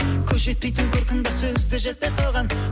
көз жетпейтін көркің бар сөз де жетпес оған